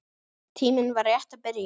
Tíminn var rétt að byrja.